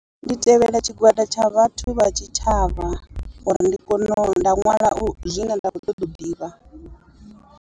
Ndi tevhela tshigwada tsha vhathu vha tshi tshavha uri ndi kone u nda nwala zwine nda kho ṱoḓa u ḓivha.